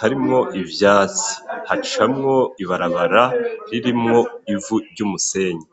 harimwo ivyatsi hacamwo ibarabara ririmwo ivu, ry'umusenyi.